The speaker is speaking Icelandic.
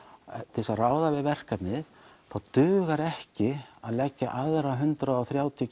til að ráða við verkefnið dugar ekki að leggja aðra hundrað og þrjátíu